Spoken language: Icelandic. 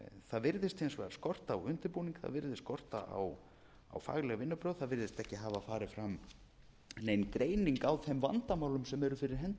það virðist hins vegar skorta á undirbúning það virðist skorta á fagleg vinnubrögð það virðist ekki hafa farið fram nein greining á þeim vandamálum sem eru fyrir hendi í